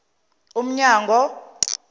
umnyango